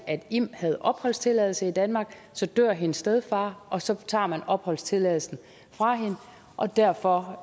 at im havde opholdstilladelse i danmark så dør hendes stedfar og så tager man opholdstilladelsen fra hende og derfor